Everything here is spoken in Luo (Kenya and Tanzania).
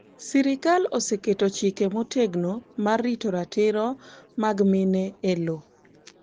Sirikal oseketo chike motegno mar rito ratiro mag mine e lowo.